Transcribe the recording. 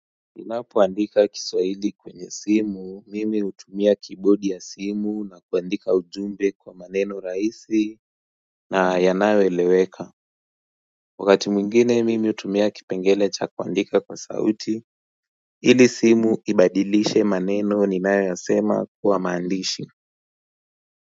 Ninapo andika kiswahili kwenye simu, mimi hutumia keyboard ya simu na kuandika ujumbe kwa maneno rahisi na yanayo eleweka wakati mwingine mimi hutumia kipengele cha kuandika kwa sauti ili simu ibadilishe maneno ninayo yasema kuwa maandishi.